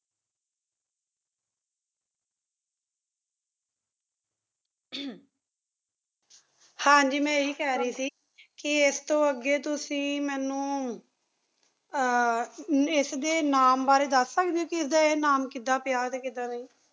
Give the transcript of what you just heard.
ਹਾਂਜੀ ਮੈਂ ਇਹੀ ਕਹਿ ਰਹੀ ਸੀ ਇਸ ਤੋਂ ਅੱਗੇ ਤੁਸੀ ਮੈਨੂੰ ਅਹ ਇਸਦੇ ਨਾਮ ਬਾਰੇ ਦੱਸ ਸਕਦੇ ਹੋ ਕੀ ਇਸਦਾ ਇਹ ਨਾਮ ਕਿਦਾਂ ਪਿਆ ਤੇ ਕਿਦਾਂ ਨਹੀਂ